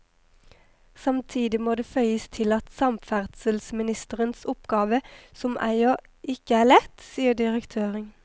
Samtidig må det føyes til at samferdselsministerens oppgave som eier ikke er lett, sier direktøren.